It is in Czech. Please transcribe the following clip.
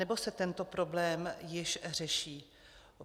Anebo se tento problém již řeší?